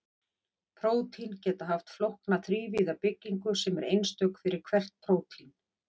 Prótín geta haft flókna þrívíða byggingu sem er einstök fyrir hvert prótín.